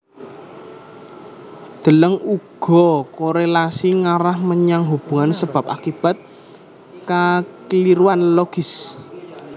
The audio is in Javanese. Deleng uga korélasi ngarah menyang hubungan sebab akibat kakliruan logis